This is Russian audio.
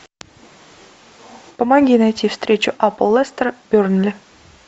помоги найти встречу апл лестера бернли